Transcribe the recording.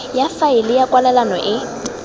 ya faele ya kwalelano e